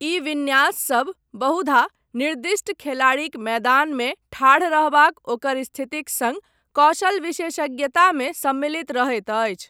ई विन्यास सभ बहुधा निर्दिष्ट खेलाड़ीक मैदानमे ठाढ़ रहबाक ओकर स्थितिक सङ्ग कौशल विशेषज्ञतामे सम्मिलित रहैत अछि।